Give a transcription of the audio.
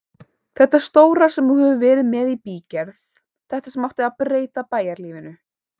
Þetta stóra sem þú hefur verið með í bígerð, þetta sem átti að breyta bæjarlífinu.